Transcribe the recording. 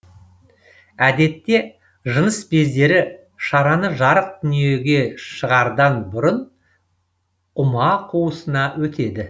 әдетте жыныс бездері шараны жарық дүниеге шығардан бұрын ұма қуысына өтеді